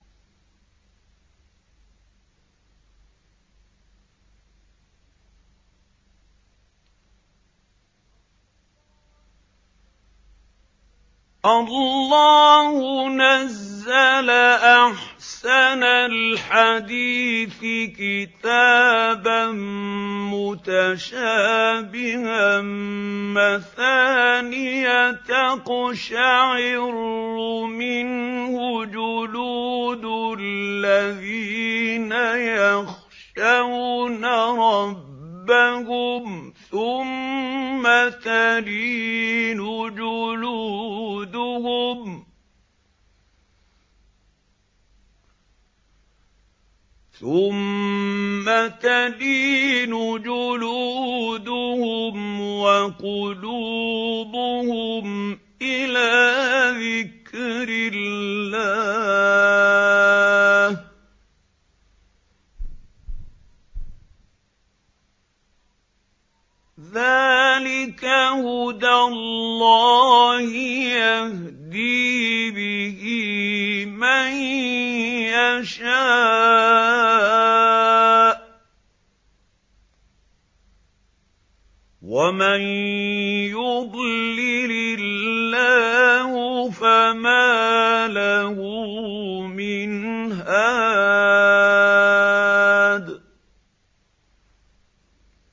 اللَّهُ نَزَّلَ أَحْسَنَ الْحَدِيثِ كِتَابًا مُّتَشَابِهًا مَّثَانِيَ تَقْشَعِرُّ مِنْهُ جُلُودُ الَّذِينَ يَخْشَوْنَ رَبَّهُمْ ثُمَّ تَلِينُ جُلُودُهُمْ وَقُلُوبُهُمْ إِلَىٰ ذِكْرِ اللَّهِ ۚ ذَٰلِكَ هُدَى اللَّهِ يَهْدِي بِهِ مَن يَشَاءُ ۚ وَمَن يُضْلِلِ اللَّهُ فَمَا لَهُ مِنْ هَادٍ